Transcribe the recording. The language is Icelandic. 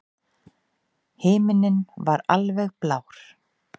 Himinninn var alveg blár.